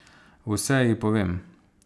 Vse ji povem.